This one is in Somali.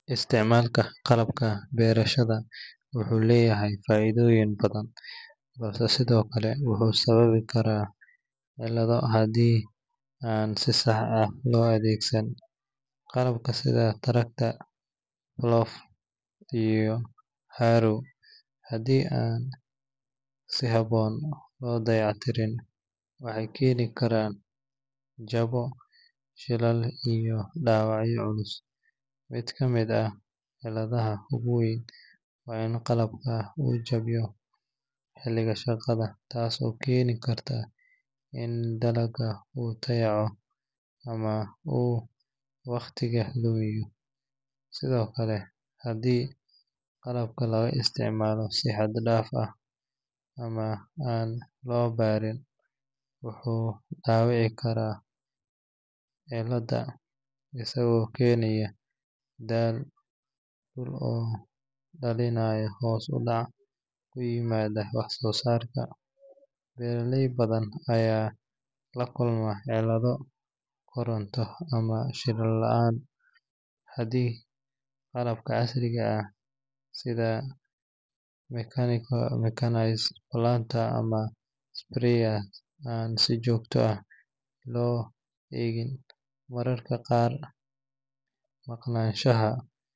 Isticmaalka qalabka beerashada wuxuu leeyahay faa’iidooyin badan, balse sidoo kale wuxuu sababi karaa cillado haddii aan si sax ah loo adeegsan. Qalabka sida tractor, plough, iyo harrow haddii aan si habboon loo dayactirin, waxay keeni karaan jabo, shilal iyo dhaawacyo culus. Mid ka mid ah cilladaha ugu weyn waa in qalabka uu jabayo xilliga shaqada, taas oo keeni karta in dalagga uu dayaco ama uu waqtiga lumiyo. Sidoo kale, haddii qalabka laga isticmaalo si xad dhaaf ah ama aan loo baran, wuxuu dhaawici karaa ciidda, isagoo keenaya daal dhul oo dhalinaya hoos u dhac ku yimaada wax soo saarka. Beeraley badan ayaa la kulma cillado koronto ama shidaal la’aan haddii qalabka casriga ah sida mechanized planters ama sprayers aan si joogto ah loo eegin. Mararka qaar, maqnaanshaha.